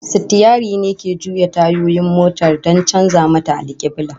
Sitiyari ne ke juya tayoyin motar don canza mata alkiblah